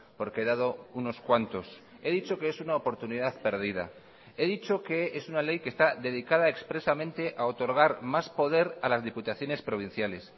porque dado unos cuantos he dicho que es una oportunidad perdida he dicho que es una ley que está dedicada expresamente a otorgar más poder a las diputaciones provinciales